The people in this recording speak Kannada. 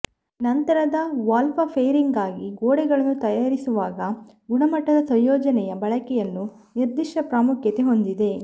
ನಂತರದ ವಾಲ್ಪಾಪೇರಿಂಗ್ಗಾಗಿ ಗೋಡೆಗಳನ್ನು ತಯಾರಿಸುವಾಗ ಗುಣಮಟ್ಟದ ಸಂಯೋಜನೆಯ ಬಳಕೆಯನ್ನು ನಿರ್ದಿಷ್ಟ ಪ್ರಾಮುಖ್ಯತೆ ಹೊಂದಿದೆ